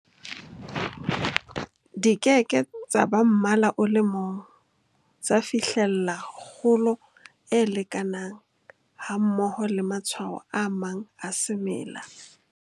Di ke ke tsa ba mmala o le mong, tsa fihlella kgolo e lekanang, hammoho le matshwao a mang a semela.